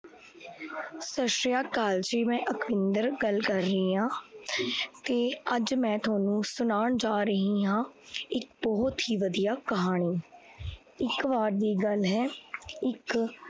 ਸਤ ਸ਼੍ਰੀ ਅਕਾਲ ਜੀ, ਮੈ ਅੱਖਵਿੰਦਰ ਗੱਲ ਕਰ ਰਹੀ ਆ ਤੇ ਅੱਜ ਮੈ ਤੁਹਾਨੂ ਸੁਨਾਣ ਜਾਂ ਰਹੀ ਹਾਂ ਇੱਕ ਬਹੁਤ ਹੀ ਵਧੀਆ ਕਹਾਣੀ। ਇੱਕ ਬਾਰ ਦੀ ਗੱਲ ਹੈ, ਇੱਕ